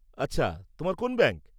আচ্ছা, তোমার কোন্ ব্যাংক?